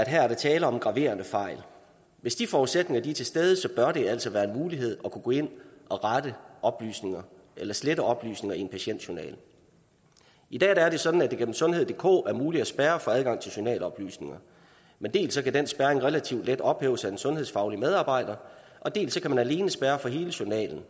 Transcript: her er tale om graverende fejl hvis de forudsætninger er til stede bør det altså være en mulighed at kunne gå ind at rette oplysninger eller slette oplysninger i en patientjournal i dag er det sådan at det igennem sundheddk er muligt at spærre for adgang til journaloplysninger men dels kan den spærring relativt let ophæves af den sundhedsfaglige medarbejder dels kan man alene spærre for hele journalen